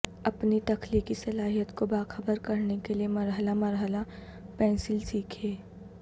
اپنی تخلیقی صلاحیت کو باخبر کرنے کے لئے مرحلہ مرحلہ پنسل سیکھیں